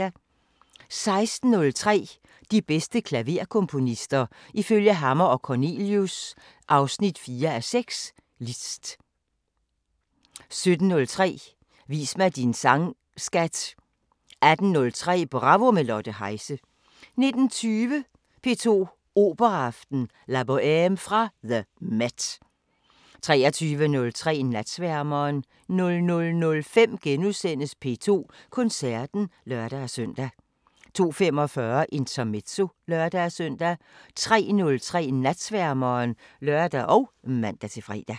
16:03: De bedste klaverkomponister – ifølge Hammer & Cornelius (4:6): Liszt 17:03: Vis mig din sang skat! 18:03: Bravo – med Lotte Heise 19:20: P2 Operaaften: La Bohème fra the MET 23:03: Natsværmeren 00:05: P2 Koncerten *(lør-søn) 02:45: Intermezzo (lør-søn) 03:03: Natsværmeren (lør og man-fre)